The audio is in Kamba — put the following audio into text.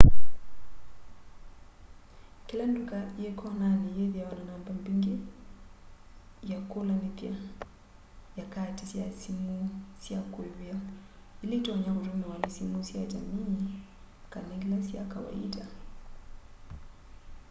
kila nduka yi konani yithiawa na namba mbingi ya kulanithya ya kaati sya simu sya kuivia ila itonya kutumiwa ni simu sya jamii kana ila sya kawaita